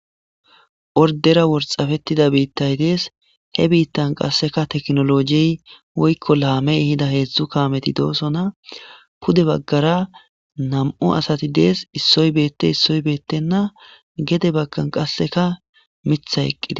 Ordera worxappettida biittay dees. He biittan qasseka teknolojiy woykko laamey hida heedzdzu kaameti doosona .pude baggara nam7u asati dees.issoy beette issoy beettenna gede baggan qasseka mitha eqqide.